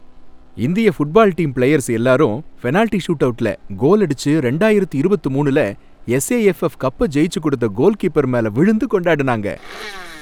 இந்திய football team players எல்லாரும் penalty ஷூட்அவுட்ல கோல் அடிச்சு ரெண்டாயிரத்து இருபத்து மூனுல எஸ்ஏஎஃப்எஃப் கப்ப ஜெயிச்சு கொடுத்த கோல்கீப்பர் மேல விழுந்து கொண்டாடுனாங்க